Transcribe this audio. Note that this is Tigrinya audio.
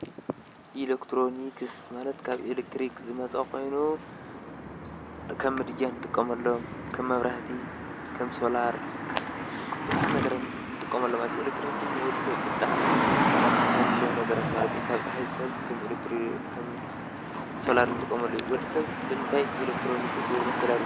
ኤለክትሮኒክስ ማለት ኤለክትሪክ ዝመፅ ኮይኑ ከም ምድጃ ንጥቀመሎም ከም መብራህቲ ከም ሶላር ንብዙሓት ነገራት ንጥቀመሎም። ኤለክትሮኒክስ ንወዲሰብ ብጣዕሚ ጠቀምቲ ካብ እንብሎም ነገራት ማለት እዩ። ካብ ፅሓይ ዝስሕብ ከም ሶላር ንጥቀመሉ እዩ። ወዲ ሰብ ንምንታይ ኤለክትሮኒክስ ወይ ድማ ሶላር ይጥቀም ?